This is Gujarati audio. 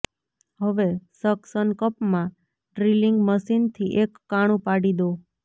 હવે સક્શન કપમાં ડ્રીલિંગ મશીનથી એક કાણું પાડી દો